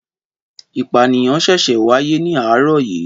Ìpànìyàn ṣẹ̀ṣẹ̀ wáyé ní àárọ̀ yìí